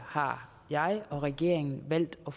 har jeg og regeringen valgt at